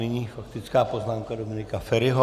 Nyní faktická poznámka Dominika Feriho.